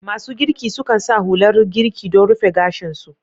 Masu girki sukan sa hular girki don rufe gashin su.